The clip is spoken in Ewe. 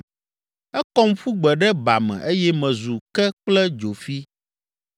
Ekɔm ƒu gbe ɖe ba me eye mezu ke kple dzofi.